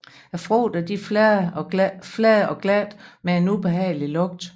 Frugterne er flade og glatte med en ubehagelig lugt